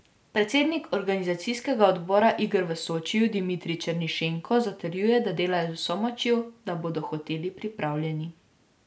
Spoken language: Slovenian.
Predsednik organizacijskega odbora iger v Sočiju Dimitrij Černišenko zatrjuje, da delajo z vso močjo, da bodo hoteli pripravljeni.